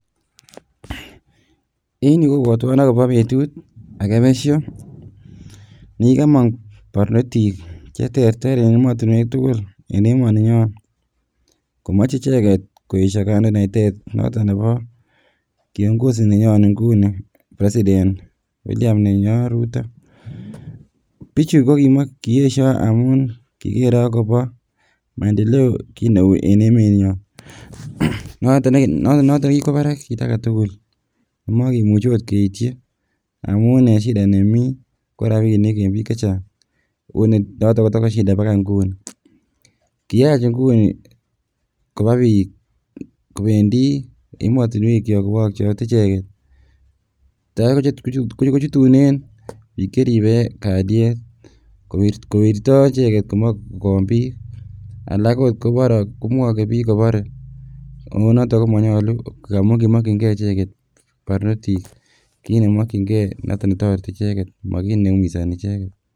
En yuu kobwotwon akobo betut akee besho nekikomong barnotik cheterter en emotinwek tukul en emoni nyon komoche icheket koesho kandoinatet noton nebo kiongozi nenyon inguni [vs] president William nenyon Rutto, bichu ko koyesho amun kikere akobo maendeleo kiit neuu en emenyon noton nekikwo barak kiit aketukul amokimuche akot keityi amun en shida nemii ko rabinik en biik chechang onee noton kotoko shida bakai ing'uni, kiyach inguni kobaa biik kobendi emotinwekyok kowokyote icheket, takai kochutunen biik cheribe kaliet kowirto icheket komoe kowon biik alak okot komwoke biik kobore ak konoton komonyolu ng'amun komokying'e icheket barnotik kiit nemokying'e noton netoreti icheket mo kiit neumisoni icheket.